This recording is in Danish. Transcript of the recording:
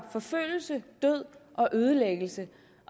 forfølgelse død og ødelæggelse